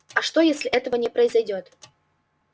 а что если этого не произойдёт